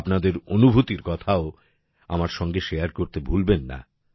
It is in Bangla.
আপনাদের অনুভূতির কথাও আমার সঙ্গে শেয়ার করতে ভুলবেন না